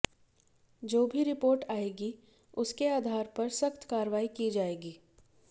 जो भी रिपोर्ट आएगी उसके आधार पर सख्त कार्रवाई की जाएगी